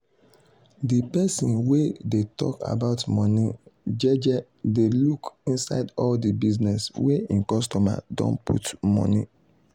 de person wey dey tok about money jeje dey look inside all de business wey hin customer don put money.